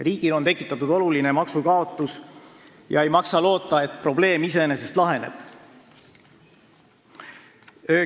Riigile on tekitatud oluline maksukaotus ja ei maksa loota, et probleem iseenesest laheneb.